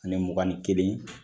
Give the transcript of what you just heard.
Ani mugan ni kelen